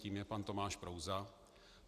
Tím je pan Tomáš Prouza.